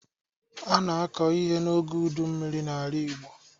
A na-akọ ihe n'oge ụdị mmiri n'ala igbo